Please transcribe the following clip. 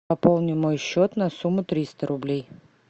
пополни мой счет на сумму триста рублей